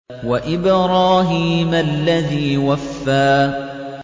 وَإِبْرَاهِيمَ الَّذِي وَفَّىٰ